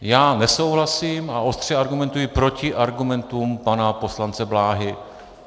Já nesouhlasím a ostře argumentuji proti argumentům pana poslance Bláhy.